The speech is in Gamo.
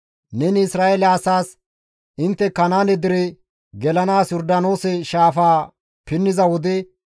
«Neni Isra7eele asaas, ‹Intte Kanaane dere gelanaas Yordaanoose shaafaa pinniza wode,